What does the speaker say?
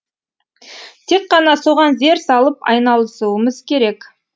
тек қана соған зер салып айналысуымыз керек